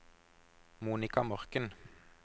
Monika Morken